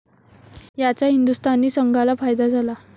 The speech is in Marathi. याचा हिंदुस्थानी संघाला फायदा झाला.